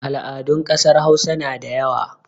Al'adun ƙasar Hausa na da yawa.